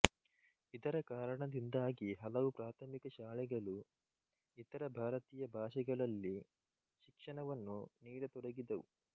ಇದರ ಕಾರಣದಿಂದಾಗಿ ಹಲವು ಪ್ರಾರ್ಥಮಿಕ ಶಾಲೆಗಳು ಇತರ ಭಾರತೀಯ ಭಾಷೆಗಳಲ್ಲಿ ಶಿಕ್ಷಣವನ್ನು ನೀಡತೊಡಗಿದವು